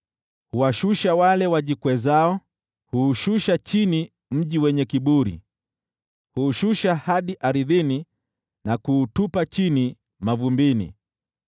Huwashusha wale wajikwezao, huushusha chini mji wenye kiburi, huushusha hadi ardhini na kuutupa chini mavumbini.